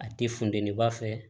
A ti funteni ba fɛ